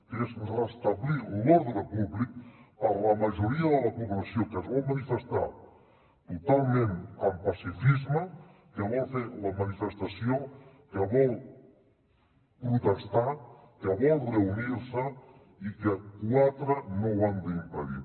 que és restablir l’ordre públic per a la majoria de la població que es vol manifestar totalment amb pacifisme que vol fer la manifestació que vol protestar que vol reunir se i que quatre no ho han d’impedir